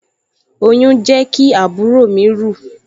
Oyún jẹ́ kí àbúrò mi rù